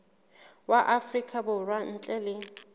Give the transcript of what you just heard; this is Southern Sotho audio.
wa afrika borwa ntle le